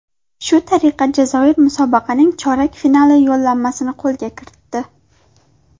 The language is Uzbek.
Shu tariqa Jazoir musobaqaning chorak finali yo‘llanmasini qo‘lga kiritdi.